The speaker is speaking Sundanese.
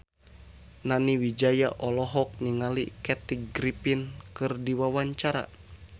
Nani Wijaya olohok ningali Kathy Griffin keur diwawancara